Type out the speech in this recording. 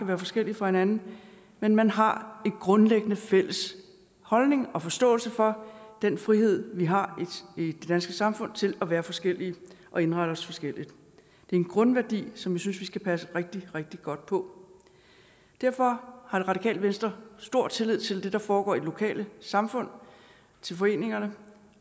være forskellige fra hinanden men man har en grundlæggende fælles holdning og forståelse for den frihed vi har i det danske samfund til at være forskellige og indrette os forskelligt det er en grundværdi som jeg synes vi skal passe rigtig rigtig godt på derfor har det radikale venstre stor tillid til det der foregår i det lokale samfund til foreningerne